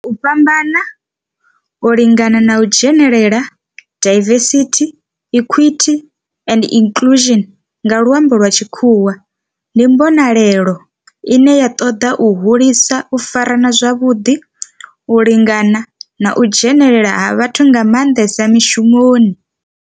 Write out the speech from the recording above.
U fhambana, u lingana na u dzhenelela, diversity, equity and inclusion nga lwambo lwa tshikhuwa, ndi mbonelelo ine ya toda u hulisa u farana zwavhudi, u lingana na u dzhenelela ha vhathu nga mandesa mishumoni.